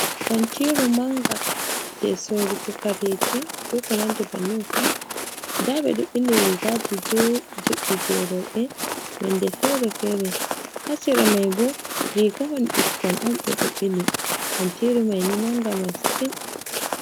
Kantiru manga je sorugo kareji bekonanɗi bandin fu. Nda beɗo bili rigaji juɗɗi juɗɗi je robe, nonde fere-fere. Hasira mai bo rigahon bikkon on be do ɓili kantiru maini manga mastin.